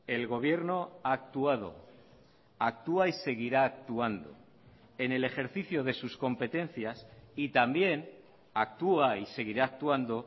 el gobierno ha actuado actúa y seguirá actuando en el ejercicio de sus competencias y también actúa y seguirá actuando